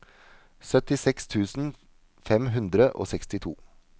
syttiseks tusen fem hundre og sekstito